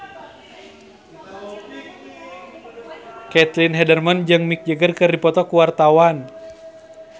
Caitlin Halderman jeung Mick Jagger keur dipoto ku wartawan